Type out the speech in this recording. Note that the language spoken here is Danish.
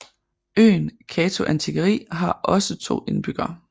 Øen Kato Antikeri har også to indbyggere